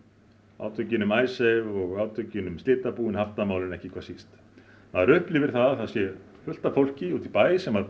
átökin um Icesave átökin um slitabúin haftamálin ekki hvað síst maður upplifir að það sé fullt af fólki úti í bæ sem